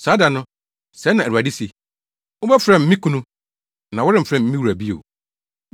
“Saa da no,” sɛɛ na Awurade se, “Wobɛfrɛ me ‘me kunu’; na woremfrɛ me ‘me wura’ bio.